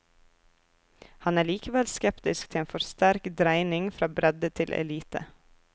Han er likevel skeptisk til en for sterk dreining fra bredde til elite.